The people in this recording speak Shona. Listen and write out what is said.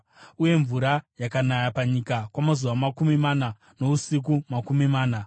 Uye mvura yakanaya panyika kwamazuva makumi mana nousiku makumi mana.